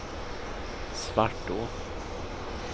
Svartå